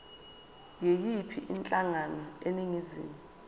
yiyiphi inhlangano eningizimu